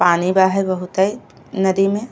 पानी बा हये बहुते नदी में।